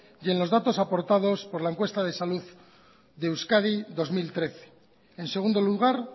y en los datos aportados por la encuesta de salud de euskadi dos mil trece en segundo lugar